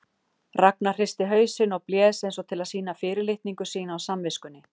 Ragnar hristi hausinn og blés eins og til að sýna fyrirlitningu sína á samviskunni.